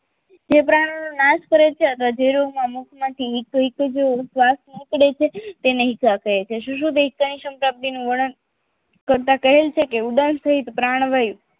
જે પ્રાણ નાશ કરે છે અથવા જે રોગોમાં મુક્ત માથી હિત હિતો જ શ્વાસ નીકળે છે તેને ઇકાદ કહે છે સુશોહિત ઈકાદનું વર્ણન કરતા કહેલ છે કે ઉદાર સહિત પ્રાણ વાયુ